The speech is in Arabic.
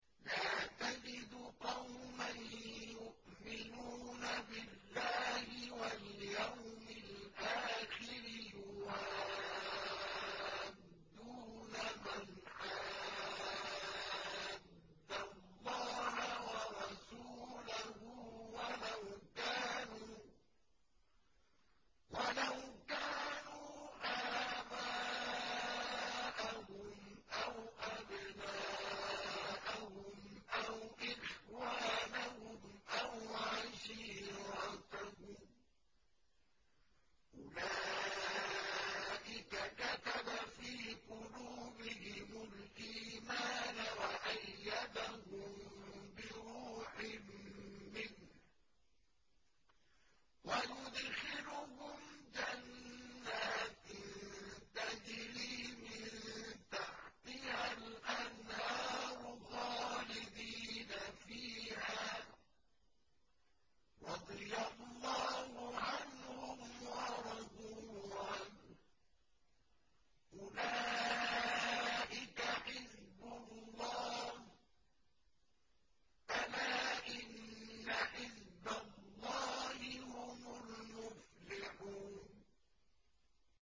لَّا تَجِدُ قَوْمًا يُؤْمِنُونَ بِاللَّهِ وَالْيَوْمِ الْآخِرِ يُوَادُّونَ مَنْ حَادَّ اللَّهَ وَرَسُولَهُ وَلَوْ كَانُوا آبَاءَهُمْ أَوْ أَبْنَاءَهُمْ أَوْ إِخْوَانَهُمْ أَوْ عَشِيرَتَهُمْ ۚ أُولَٰئِكَ كَتَبَ فِي قُلُوبِهِمُ الْإِيمَانَ وَأَيَّدَهُم بِرُوحٍ مِّنْهُ ۖ وَيُدْخِلُهُمْ جَنَّاتٍ تَجْرِي مِن تَحْتِهَا الْأَنْهَارُ خَالِدِينَ فِيهَا ۚ رَضِيَ اللَّهُ عَنْهُمْ وَرَضُوا عَنْهُ ۚ أُولَٰئِكَ حِزْبُ اللَّهِ ۚ أَلَا إِنَّ حِزْبَ اللَّهِ هُمُ الْمُفْلِحُونَ